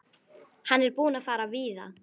Hann er búinn að fara víða.